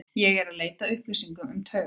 Ég er eð leita að upplýsingum um taugaveiki.